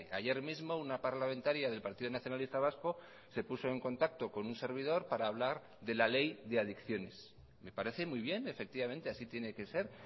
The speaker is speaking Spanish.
ayer mismo una parlamentaria del partido nacionalista vasco se puso en contacto con un servidor para hablar de la ley de adicciones me parece muy bien efectivamente así tiene que ser